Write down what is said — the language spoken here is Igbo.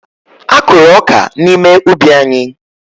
Akụrụ ọka n'ime ubi anyị.